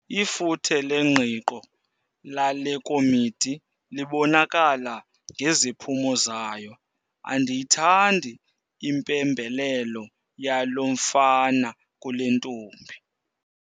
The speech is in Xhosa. Ifuthe lengqiqo lale komiti libonakala ngeziphumo zayo. Andiyithandi impembelelo yalo mfana kule ntombi